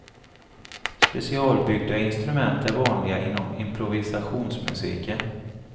Specialbyggda instrument är vanliga inom improvisationsmusiken.